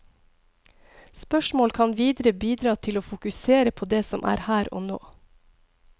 Spørsmål kan videre bidra til å fokusere på det som er her og nå.